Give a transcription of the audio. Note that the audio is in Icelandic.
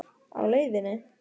Á leiðinni?